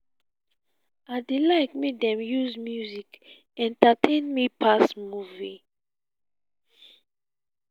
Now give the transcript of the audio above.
i dey like make dem use music entertain me pass movie.